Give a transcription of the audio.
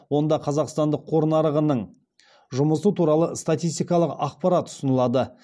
онда қазақстандық қор нарығының жұмысы туралы статистикалық ақпарат ұсынылады